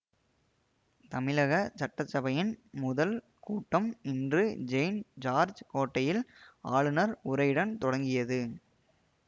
தமிழகச் சட்டசபையின் முதல் கூட்டம் இன்று செயின்ட் ஜார்ஜ் கோட்டையில் ஆளுநர் உரையுடன் தொடங்கியது